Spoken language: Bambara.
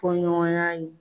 Fɔ ɲɔgɔnya ye